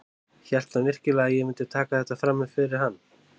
Hélt hann virkilega að ég myndi taka þetta fram yfir hann?